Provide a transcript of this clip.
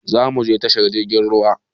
Zamuje tashar jirgin ruwa